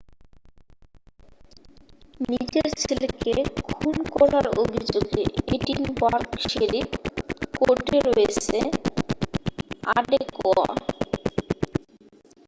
নিজের ছেলেকে খুন করার অভিযোগে এডিনবার্গ শেরিফ কোর্টে রয়েছে আডেকোয়া